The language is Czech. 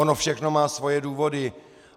Ono všechno má svoje důvody.